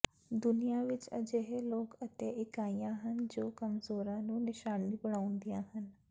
ਦੁਨੀਆ ਵਿਚ ਅਜਿਹੇ ਲੋਕ ਅਤੇ ਇਕਾਈਆਂ ਹਨ ਜੋ ਕਮਜ਼ੋਰਾਂ ਨੂੰ ਨਿਸ਼ਾਨਾ ਬਣਾਉਂਦੀਆਂ ਹਨ